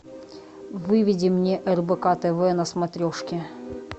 выведи мне рбк тв на смотрешке